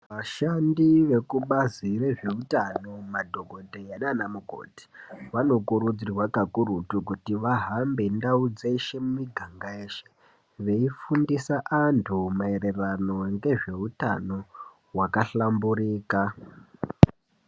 Vashandi vekubazi rezveutano madhogodheya naana mukoti vanokurudzirwa kakurutu kuti vahambe ndau dzeshe miganga yeshe veifundisa antu maererano ngezveutano hwakahlamburika.